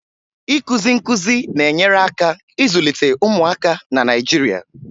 Ịkụzi nkụzi na-enyere aka ịzụlite ụmụaka na Naịjirịa